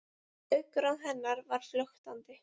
Augnaráð hennar var flöktandi.